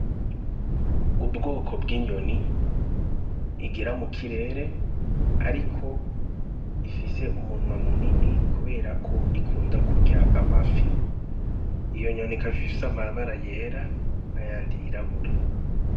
Ubwoko bw'inyoni igira mu kirere, ariko ifise umunwa munini kuberako ikunda kurya amafi iyo nyoni ikaba ifise amabara yera n'a yandi yirabura.